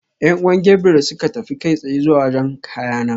Yan'uwan Gabriel suka tafi kai tsaye zuwa wajen kayana.